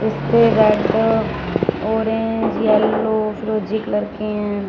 इसपे red orange yellow फिरोजी colour के है।